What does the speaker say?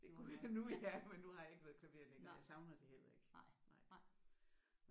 Det kunne jeg nu ja men nu har jeg ikke noget klaver længere. Jeg savner det heller ikke